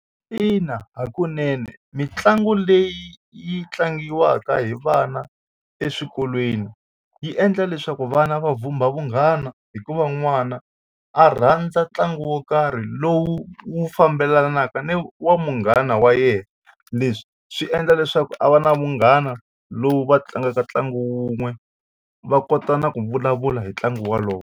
Ina hakunene mitlangu leyi yi tlangiwaka hi vana eswikolweni yi endla leswaku vana va vhumba vunghana hikuva n'wana a rhandza ntlangu wa wo karhi lowu wu fambelanaka ni wa munghana wa yena. Leswi swi endla leswaku a va na munghana lowu va tlangaka ntlangu wun'we va kota na ku vulavula hi ntlangu wolowo.